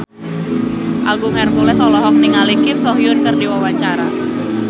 Agung Hercules olohok ningali Kim So Hyun keur diwawancara